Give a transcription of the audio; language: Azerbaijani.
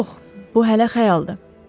Yox, bu hələ xəyaldır.